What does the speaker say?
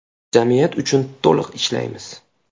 Jamiyat uchun to‘liq ishlaymiz.